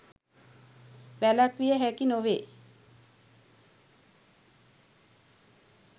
වැළැක්විය හැකි නොවේ.